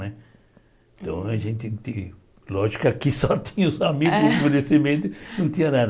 Então a gente lógico que aqui só tinha os amigos, É não tinha nada.